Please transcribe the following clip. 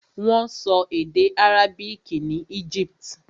Wọ́n sọ èdè àrábìkì ní Egypt.